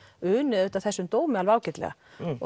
uni þessum dómi alveg ágætlega